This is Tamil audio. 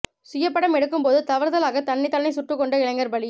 சுயப்படம் எடுக்கும்போது தவறுதலாக தன்னைத் தானே சுட்டுக் கொண்ட இளைஞர் பலி